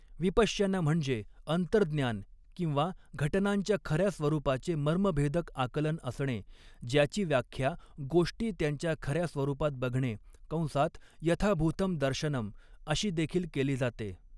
विपश्यना म्हणजे अंतर्ज्ञान किंवा घटनांच्या खऱ्या स्वरूपाचे मर्मभेदक आकलन असणे, ज्याची व्याख्या 'गोष्टी त्यांच्या खऱ्या स्वरूपात बघणे' कंसात यथाभूतम् दर्शनम् अशी देखील केली जाते.